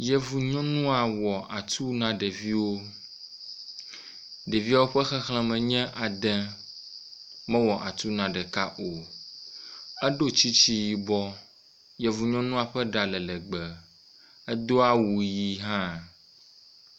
Yevu nyɔnua wɔ atu na ɖeviwo, ɖeviawo ƒe xexlẽme nye ade, mewɔ atu na ɖeka o, eɖo tsitsi yibɔ, yevu nyɔnua ɔe ɖa le legbee, edo awu ʋɛ̃ hã.